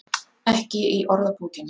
Ekki í orðabókinni.